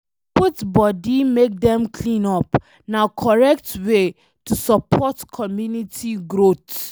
To put body make Dem clean up, na correct way to support community growth